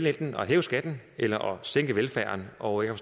at hæve skatten eller sænke velfærden og jeg